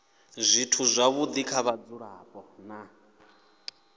zwithu zwavhudi kha vhadzulapo na